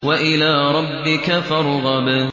وَإِلَىٰ رَبِّكَ فَارْغَب